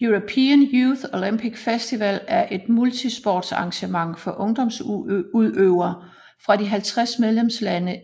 European Youth Olympic Festival er et multisportsarrangement for ungdomsudøvere fra de 50 medlemslande